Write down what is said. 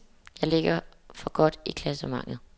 Jeg ligger for godt i klassementet.